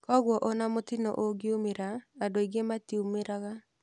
Kwoguo ona mũtino ũngiumĩra andũ aingĩ matiũmĩraga.